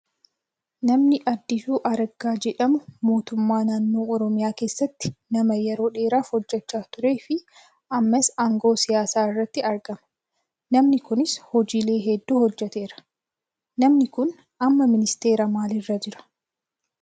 Namni Addisuu Araggaa jedhamu mootummaa naannoo oromiyaa keessatti nama yeroo dheeraaf hojjataa turee fi ammas aangoo siyaasaa irratti argama. Namni Kunis hojiilee hedduu hojjateera. Namni Kun amma ministeera maaliirra jiraa?